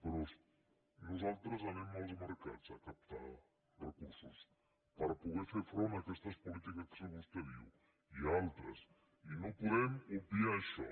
però nosaltres anem als mercats a captar recursos per poder fer front a aquestes polítiques que vostè diu i a altres i no podem obviar això